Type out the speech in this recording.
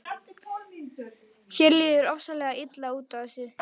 Mér líður ofsalega illa út af þessu.